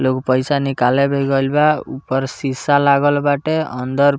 लोग पइसा निकाले भी गइल बा ऊपर शीशा लागल बाटे अंदर --